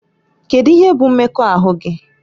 Kedu ihe bụ mmekọahụ gị?